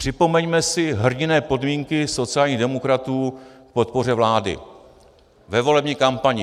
Připomeňme si hrdinné podmínky sociálních demokratů k podpoře vlády ve volební kampani.: